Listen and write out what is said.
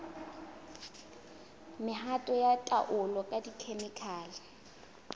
mehato ya taolo ka dikhemikhale